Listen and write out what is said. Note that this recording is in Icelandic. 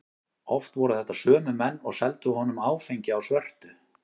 Oft voru þetta sömu menn og seldu honum áfengi á svörtu.